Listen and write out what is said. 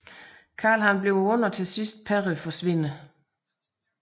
Carl bliver ond og til sidst Perry forsvinder